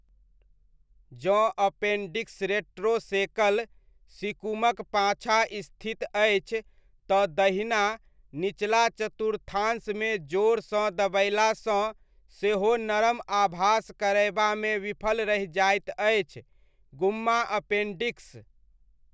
जँ appendix retrocaecal, सीकुमक पाँछा स्थित अछि तँ दहिना निचला चतुर्थांशमे जोरसँ दबएलासँ सेहो नरम आभास करयबामे विफल रहि जाइत अछि, गुम्मा अपेन्डिक्स।